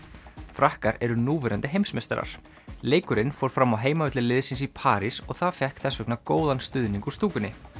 frakkar eru núverandi heimsmeistarar leikurinn fór fram á heimavelli liðsins í París og það fékk þess vegna góðan stuðning úr stúkunni